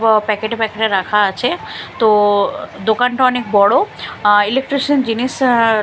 packet -এ packet -এ রাখা আছে তো দোকানটা অনেক বড় আ ইলেকট্রিশিয়ান জিনিস আ--